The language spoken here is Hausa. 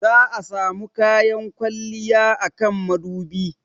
Za'a samu kayan kwalliya a kan madubi.